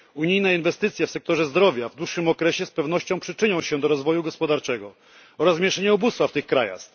Unijne inwestycje w sektorze zdrowia w dłuższym okresie z pewnością przyczynią się do rozwoju gospodarczego oraz rozmieszczeniu ubóstwa w tych krajach.